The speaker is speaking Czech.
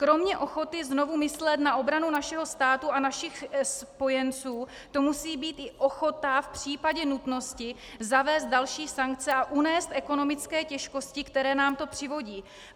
Kromě ochoty znovu myslet na obranu našeho státu a našich spojenců to musí být i ochota v případě nutnosti zavést další sankce a unést ekonomické těžkosti, které nám to přivodí.